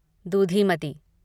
दूधीमती